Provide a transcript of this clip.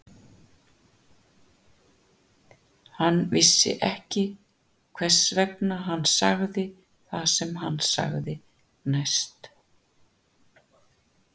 Hann vissi ekki hvers vegna hann sagði það sem hann sagði næst.